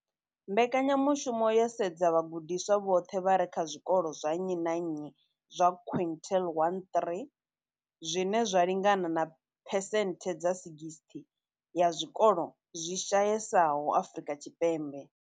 Mbekanya mushumo yo sedza vhagudiswa vhoṱhe vha re kha zwikolo zwa nnyi na nnyi zwa quintile 1-3, zwine zwa lingana na phesenthe dza 60 ya zwikolo zwi shayesaho Afrika Tshipembe.